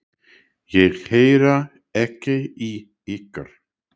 Ég heyri ekki í ykkur.